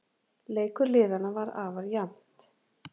Leikur liðanna var afar jafnt